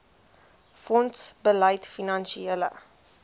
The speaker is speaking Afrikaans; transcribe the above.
fonds bied finansiële